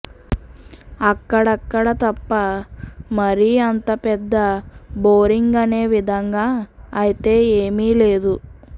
అక్కడక్కడ తప్ప మరీ అంత పెద్ద బోరింగ్ అనే విధంగా అయితే ఏమీ లేదు